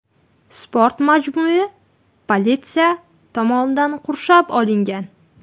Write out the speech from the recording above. Sport majmui politsiya tomonidan qurshab olingan.